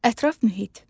Ətraf mühit.